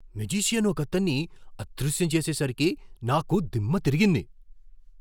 Magician ఒకతన్ని అదృశ్యం చేసేసరికి నాకు దిమ్మ తిరిగింది!